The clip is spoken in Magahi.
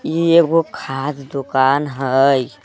ई एगो खाध दोकान हई।